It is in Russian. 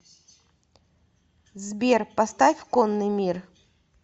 сбер поставь конный мир